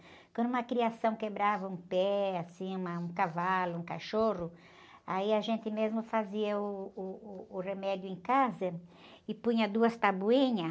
Quando uma criação quebrava um pé, assim, uma, um cavalo, um cachorro, aí a gente mesmo fazia uh, uh, o remédio em casa e punha duas tabuinhas